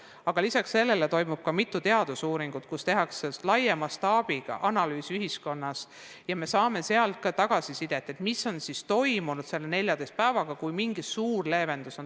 Aga peale selle on käimas mitu teadusuuringut, kus tehakse laia mastaabiga analüüs ja me saame tagasisidet, mis on ühiskonnas toimunud selle 14 päevaga, kui on rakendunud mingi suur leevendus.